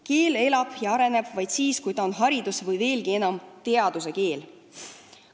Keel elab ja areneb vaid siis, kui ta on haridus- ja ka teaduskeel.